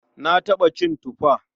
Na taɓa cin tufa.